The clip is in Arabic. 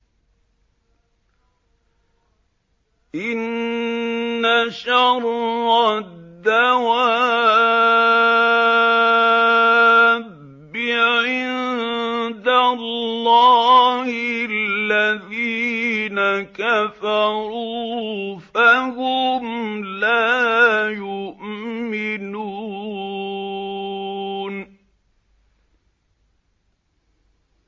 إِنَّ شَرَّ الدَّوَابِّ عِندَ اللَّهِ الَّذِينَ كَفَرُوا فَهُمْ لَا يُؤْمِنُونَ